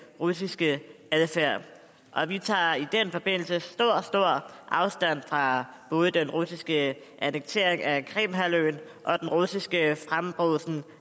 russiske adfærd vi tager i den forbindelse stor stor afstand fra både den russiske annektering af krimhalvøen og den russiske frembrusen